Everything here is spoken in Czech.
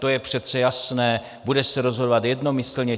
To je přece jasné, bude se rozhodovat jednomyslně.